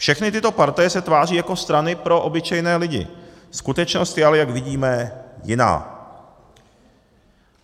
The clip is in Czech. Všechny tyto partaje se tváří jako strany pro obyčejné lidi, skutečnost je ale, jak vidíme, jiná.